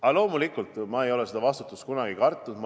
Aga loomulikult, ma ei ole vastutust kunagi kartnud.